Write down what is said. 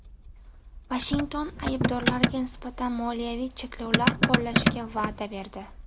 Vashington aybdorlarga nisbatan moliyaviy cheklovlar qo‘llashga va’da berdi.